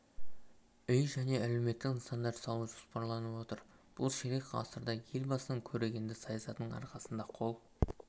үй және әлеуметтік нысандар салу жоспарланып отыр бұл ширек ғасырда елбасының көрегенді саясатының арқасында қол